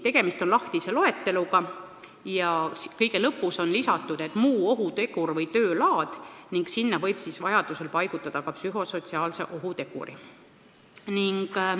Tegemist on lahtise loeteluga, kuhu kõige lõppu on lisatud "muu ohutegur või töölaad" ning sinna võib siis vajadusel paigutada ka psühhosotsiaalse ohuteguri.